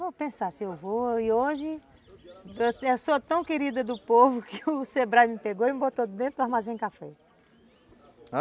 Vou pensar se eu vou e hoje eu sou tão querida do povo que o Sebrae me pegou e me botou dentro do armazém café.